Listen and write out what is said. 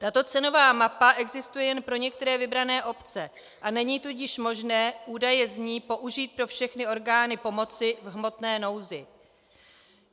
Tato cenová mapa existuje jen pro některé vybrané obce, a není tudíž možné údaje z ní použít pro všechny orgány pomoci v hmotné nouzi.